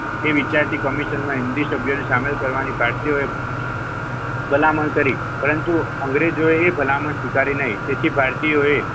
તે વિચારતી કમિશનમાં હિન્દી સભ્યને શામિલ કરવાની પાર્ટીઓએ ભલામણ કરી પરંતુ અંગ્રેજોએ ભલામણ સ્વીકારી નહીં તેથી ભારતીય એ,